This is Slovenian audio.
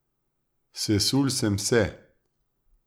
Sesul sem se.